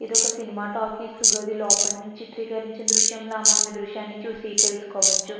ఇది ఒక cinema talkies గాది లోపల నుంచి త్రికారించిన దృశ్యం లా మనం ఈ దృశ్యాన్ని చూసి తెలుసుకోవచ్చు.